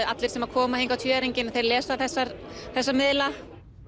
allir sem koma hingað á tvíæringinn þeir lesa þessa þessa miðla